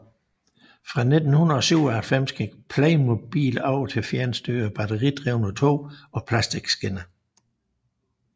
Fra 1997 gik Playmobil over til fjernstyrede batteridrevne tog og plastikskinner